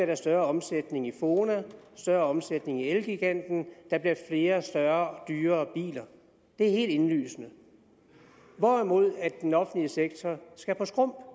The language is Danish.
der større omsætning i fona større omsætning i elgiganten og der bliver flere større og dyrere biler det er helt indlysende hvorimod den offentlige sektor skal på skrump